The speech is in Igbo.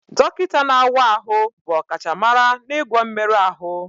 Dọkịta na-awa ahụ bụ ọkachamara n'ịgwọ mmerụ ahụ